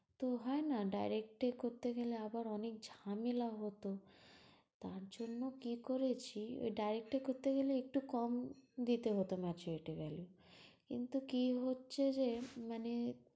তো হয় না direct এ করতে গেলে আবার অনেক ঝামেলা হতো? তার জন্য কি করেছি, ঐ direct এ করতে গেলে একটু কম দিতে হত maturity value কিন্তু কি হচ্ছে যে মানে